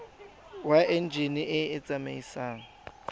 wa enjine e e tsamaisang